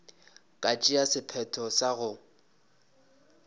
ka tšea sephetho sa go